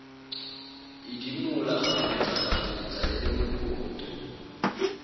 idimola kgafetsakgafetsa e le mopoto